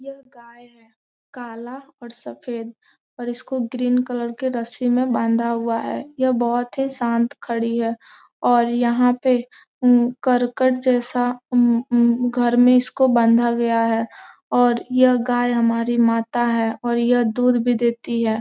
यह गाय है काला और सफ़ेद पर इसको ग्रीन कलर के रस्सी में बाधा हुआ है यह बहुत ही शांत खड़ी है और यहाँ पे करकट जैसा घर में उसको बांधा गया है और यह गाय हमारी माता है और ये दूध भी देती है।